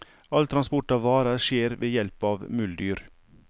All transport av varer skjer ved hjelp av muldyr.